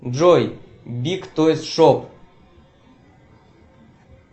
джой биг тойз шоп